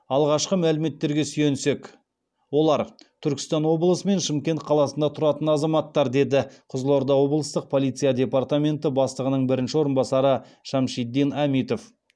алғашқы мәліметтерге сүйенсек олар түркістан облысы мен шымкент қаласында тұратын азаматтар деді қызылорда облыстық полиция департаменті бастығының бірінші орынбасары шамшидин әмитов